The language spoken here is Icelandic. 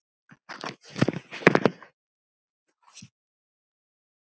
Halldór Jónsson yngri.